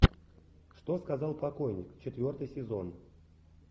что сказал покойник четвертый сезон